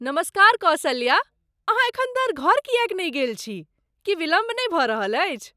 नमस्कार कौसल्या, अहाँ एखन धरि घर किएक नहि गेल छी? की विलम्ब नहि भऽ रहल अछि?